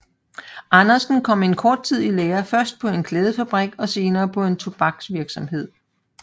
Andersen kom en kort tid i lære først på en klædefabrik og senere på en tobaksvirksomhed